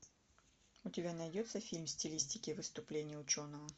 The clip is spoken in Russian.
у тебя найдется фильм в стилистике выступление ученого